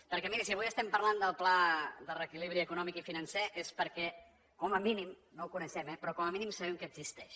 perquè miri si avui parlem del pla de reequilibri econòmic i financer és perquè com a mínim no ho coneixem eh però com a mínim sabem que existeix